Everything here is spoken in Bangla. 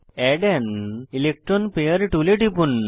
এড আন ইলেকট্রন পেয়ার টুলে টিপুন